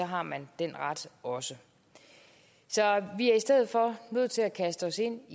har man den ret også så vi er i stedet for nødt til at kaste os ind